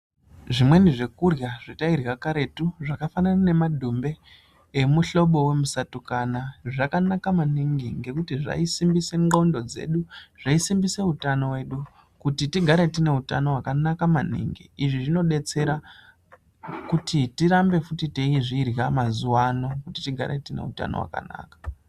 Zvimweni zvekurya zvatairya karetu zvakafanana nemadhumbe emuhlobo wemusatukana zvakanaka maningi ngekuti zvaisimbisa ndhlondo dzedu, zvaisimbisa utano hwedu ,izvi zvaidetserakuti tigare tineutano hwakanaka maningi. Izvi zvinotidetsera kuti tirambe futi teizvirya mazuwano tigare tineutano hwakanaka